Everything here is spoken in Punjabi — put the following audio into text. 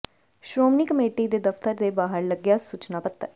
ਸ਼੍ਰੋਮਣੀ ਕਮੇਟੀ ਦੇ ਦਫਤਰ ਦੇ ਬਾਹਰ ਲੱਗਿਆ ਸੁਚਨਾ ਪੱਤਰ